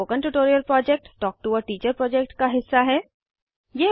spoken tutorial project talk to a teacher project का हिस्सा है